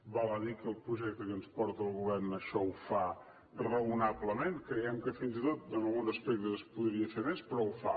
val a dir que el projecte que ens porta el govern això ho fa raonablement creiem que fins i tot en alguns aspectes es podria fer més però ho fa